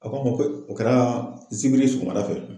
A ko an ma ko o kɛra zikiri sɔgɔmada fɛ.